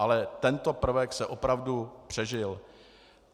Ale tento prvek se opravdu přežil.